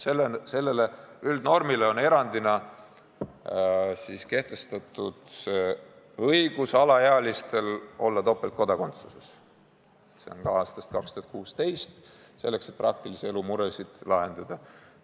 Selle üldnormi suhtes erandina on alaealistele kehtestatud õigus olla topeltkodakondsuses – see on nii aastast 2016 –, selleks et praktilise elu muresid lahendada.